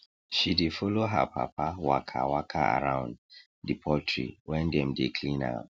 she dey follow her papa waka waka around the poultry when dem dey clean am